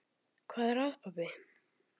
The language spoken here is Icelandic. Hvað er að, pabbi?